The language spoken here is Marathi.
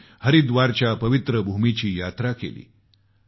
त्यांनी हरिद्वारच्या पवित्र भूमीची यात्रा केली